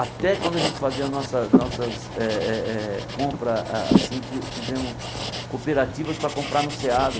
Até quando a gente fazia nossa nossas eh eh eh compras, a assim, fi fizemos cooperativas para comprar no SEASA.